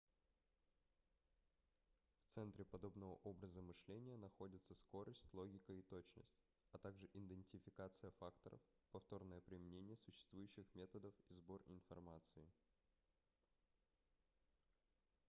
в центре подобного образа мышления находятся скорость логика и точность а также идентификация фактов повторное применение существующих методов и сбор информации